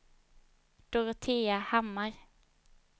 Dorotea Hammar